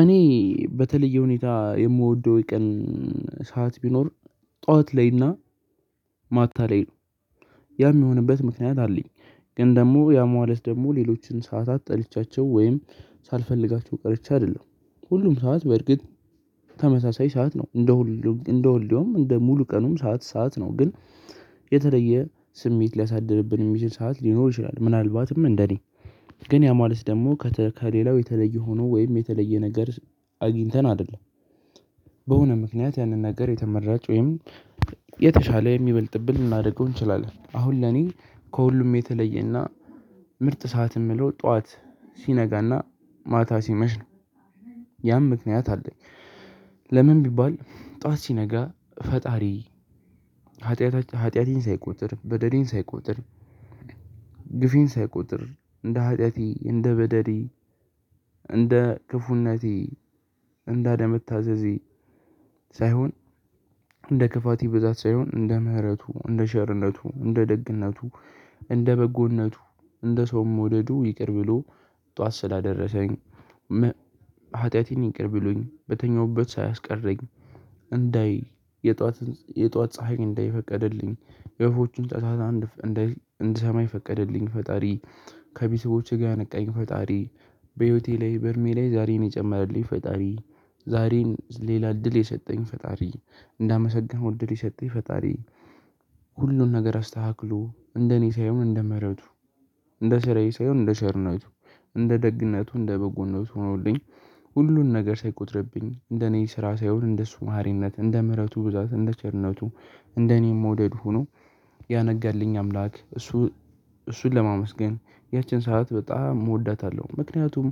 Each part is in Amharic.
እኔ በተለየ ሁኔታ የምወደው የቀን ሰዓት ቢኖር ጠዋት ላይና ማታ ላይ ነው ያ የሚሆንበት ምክንያት አለኝ። ግን ደግሞ ያ ማለት ደግሞ ሌሎችን ሰዓታት ጠልቻቸው ወይም ሳልፈልጋቸው ቀርቼ አይደለም። ሁሉም ሰዓት በእርግጥ ተመሳሳይ ሰዓት ነው እንደ ሁሉ እንደ ሁሉም እንደ ሙሉ ቀኑም ሰዓት ሰዓት ነው። ግን የተለየ ስሜት ሊያሳድርብን የሚችል ሰዓት ሊኖር ይችላል። ምናልባትም እንደኔ ግን ያ ማለት ደግሞ ከሌላው የተለየ ሆኖ ወይም የተለየ ነገር አግኝተን አይደለም። በሆነ ምክንያት ያንን ነገር የተመራጭ ወይም የተሻለ የሚበልጥብን ልናደርገው እንችላለን። አሁን ለኔ ከሁሉም የተለየና ምርጥ ሰዓት የምለው ጠዋት ሲነጋና ማታ ሲመሽ ነው። ያም ምክንያት አለኝ። ለምን ቢባል ጠዋት ሲነጋ ፈጣሪ ኃጢአት ኃጢአቴን ሳይቆጥር በደሌን ሳይቆጥር ግፌን ሳይቆጥር እንደ ኃጢአቴ እንደ በደሌ እንደ ክፉነቴ እንደ አለመታዘዜ ሳይሆን እንደ ክፋቴ ብዛት ሳይሆን እንደ ምህረቱ እንደ ቸርነቱ እንደ ደግነቱ። እንደ በጎነቱ እንደ ሰውን መወደዱ ይቅር ብሎ ጠዋት ስላደረሰኝ። ሀጢያቴን ይቅር ብሎኝ በተኛሁበት ሳያስቀረኝ የጧትን ፀሀይ እንዳይ የፈቀድልኝ የወፎችን ጫጫታ እንድሰማ የፈቀደልኝ ፈጣሪ ከቤስቦቼ ጋር ያነቃኝ ፈጣሪ። በህይወቴ ላይ በእድሜ ላይ ዛሬን የጨመረልኝ ፈጣሪ። ዛሬን ሌላ እድል የሰጠኝ ፈጣሪ። እንዳመሰገነው እድል የሰጠኝ ፈጣሪ። ሁሉን ነገር አስተካክሎ እንደኔ ሳይሆን እንደምህረቱ እንደስራዬ ሳይሆን እንደቸርነቱ እንደ ደግነቱ እንደ በጎነቱ ሆኖልኝ። ሁሉን ነገር ሳይቆጥርብኝ እንደ እኔ ስራ ሳይሆን እንደሱ መሃሪነት እንደ ምህረቱ ብዛት እንደ ቸርነቱ እንደ እኔን መውደድ ሁኖ ያነጋልኝ አምላክ። እሱን ለማመስገን ያቺን ሰዓት በጣም እወዳታለሁ። ምክንያቱም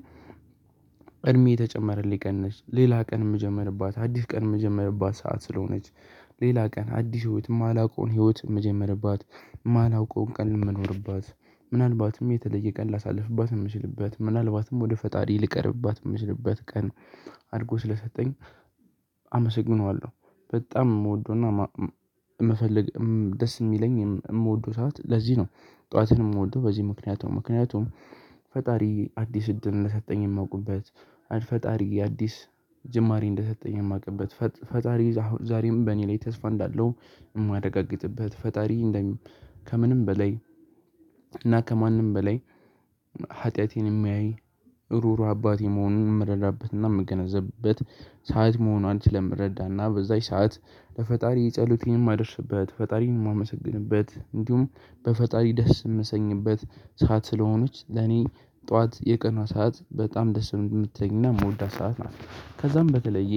እድሜ የተጨመረልኝ ቀን ነች ሌላ ቀን የምጀምርባት አዲስ ቀን የምጀምርባት ሰዓት ስለሆነች። ሌላ ቀን አዲስ ህይወት የማላውቀውን ህይወት የምጀምርባት የማላውቀውን ቀን የምንኖርባት ምናልባትም የተለየ ቀን ላሳልፍባት የምችልበት ምናልባትም ወደ ፈጣሪ ልቀርብባት የምችልበት ቀን አድርጎ ስለሰጠኝ። አመሰግነዋለሁ በጣም የምወደውና የምፈልግ ደስ የሚለኝ የምወደው ሰዓት ለዚህ ነው። ጠዋትንም ወዶ በዚህ ምክንያት ምክንያቱም ፈጣሪ አዲስ እድል እንደሰጠኝ የማውቅበት ፈጣሪ የአዲስ ጅማሬ እንደሰጠኝ የማውቅበት ፈጣሪ ዛሬም በእኔ ላይ ተስፋ እንዳለው የማረጋግጥበት ፈጣሪ እንደም ከምንም በላይ እና ከማንም በላይ ኃጢአቴን የሚያይ ሩሩ አባቴ መሆኑን የምረዳበትና የምገነዘብበት ሰዓት መሆኗን ስለምረዳና በዛች ሰዓት ለፈጣሪ ጸሎት የማደርስበት ፈጣሪን የማመሰግንበት እንዲሁም በፈጣሪ ደስ የምሰኝበት ሰዓት ስለሆነች ለኔ ጠዋት የቀኗ ሰዓት በጣም ደስ የምትለኝና የምወዳት ሰዓት ነው። ከዛም በተለየ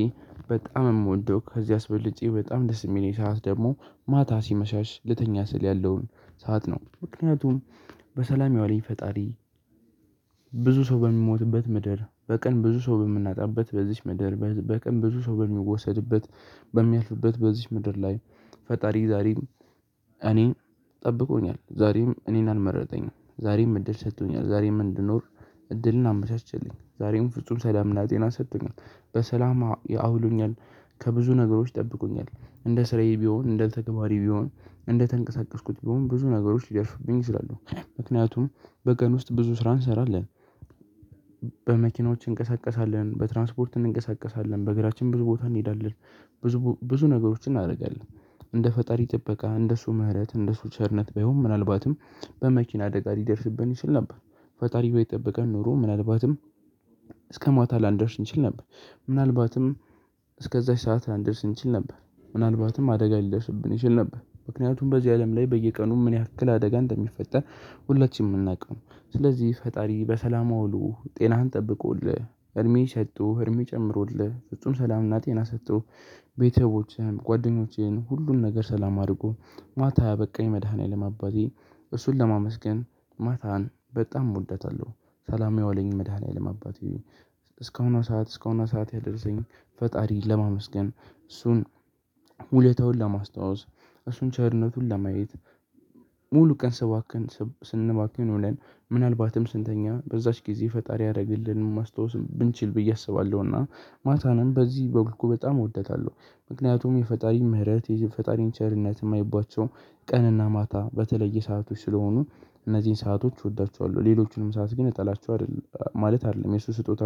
በጣም የምወደው ከዚህ አስበልጬ በጣም ደስ የሚለኝ ሰዓት ደግሞ ማታ ሲመሻሽ ልተኛ ስል ያለውን ሰዓት ነው። ምክንያቱም በሰላም ያዋለኝ ፈጣሪ። ብዙ ሰው በሚሞትበት ምድር በቀን ብዙ ሰው በምናጣበት በዚህች ምድር በቀን ብዙ ሰው በሚወሰድበት በሚያልፍበት በዚህች ምድር ላይ ፈጣሪ ዛሬም እኔን ጠብቆኛል። ዛሬም እኔን አልመረጠኝም ዛሬም እድል ሰጥቶኛል ዛሬም እንድኖር እድልን አመቻቼልኝ ዛሬም ፍጹም ሰላምና ጤና ሰጥቶኛል። በሰላም አውሎኛል። ከብዙ ነገሮች ጠብቁኛል እንደ ስራዬ ቢሆን እንደ ተግባራዬ ቢሆን እንደተንቀሳቀስኩት ቢሆን ብዙ ነገሮች ልደርሱብኝ ይችላለው። ምክንያቱም በቀን ውስጥ ብዙ ስራ እንሰራለን። በመኪናዎች እንቀሳቀሳለን በትራንስፖርት እንንቀሳቀሳለን በእግራችን ብዙ ቦታ እንሄዳለን። ብዙ ብዙ ነገሮችን እናደርጋለን እንደ ፈጣሪ ጥበቃ እንደሱ ምህረት እንደሱ ቸርነት ባይሆን ምናልባትም በመኪና አደጋ ልደርስብን ይችል ነበር። ፈጣሪ ባይጠበቀን ኖሮ ምናልባትም እስከ ማታ ላንደርስ እንችል ነበር። ምናልባትም እስከዛች ሰዓት ላንደርስ እንችል ነበር ምናልባትም አደጋ ሊደርስብን ይችል ነበር። ምክንያቱም በዚህ አለም ላይ በየቀኑ ምን ያክል አደጋ እንደሚፈጠር ሁላችንም የምናውቀው ነው። ስለዚህ ፈጣሪ በሰላም አውሊ ጤናህን ጠብቆልህ እድሜ ሰጥቶ እድሜ ጨምሩልህ ፍጹም ሰላምና ጤና ሰጥቶ ቤተሰቦቼን ጓደኞቼን ሁሉን ነገር ሰላም አድርጎ ማታ ያበቃኝ መድኃኒዓለም አባቴ። እሱን ለማመስገን ማታን በጣም እወዳታለሁ። ሰላም ያውለኝ መድኃኒያለም አባቴ። እስካሁን ሰዓት እስከሆነ ሰዓት ያደረሰኝ። ፈጣሪ ለማመስገን እሱን ውሌታውን ለማስታወስ እሱን ቸርነቱን ለማየት ሙሉ ቀን ስባክን ስንባክን ውሌን ምናልባትም ስንተኛ በዛች ጊዜ ፈጣሪ ያደርግልን ማስታወስ ብንችል ብዬ አስባለሁና። ማታንም በዚህ መልኩ በጣም እወደታለሁ። ምክንያቱም የፈጣሪ ምህረት የፈጣሪን ቸርነት የማይባቸው ቀንና ማታ የተለየ ሰአቶች ስለሆኑ። እነዚህን ሰአቶች እወዳቸዋለሁ። ሌሎቹንም ሰዓት ግን እጣላቸዋለሁ አይደለም ማለት አይደለም የእሱ ስጦታ